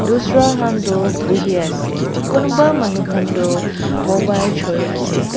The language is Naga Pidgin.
dusra hantoh buhiase kunuba toh mobile choiase.